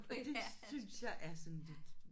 Og det synes jeg er sådan lidt